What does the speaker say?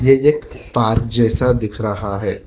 यह एक पार्क जैसा दिख रहा है।